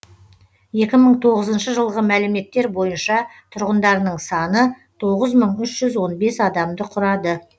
екі мың тоғызыншы жылғы мәліметтер бойынша тұрғындарының саны тоғыз мың үш жүз он бес адамды құрады